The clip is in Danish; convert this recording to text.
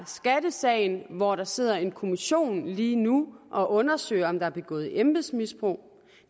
skattesagen hvor der sidder en kommission lige nu og undersøger om der begået embedsmisbrug